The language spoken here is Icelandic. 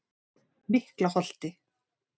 Miklaholti